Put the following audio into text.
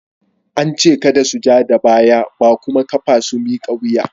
An ce kada su ja da baya ba kuma kafa su miƙa wuya!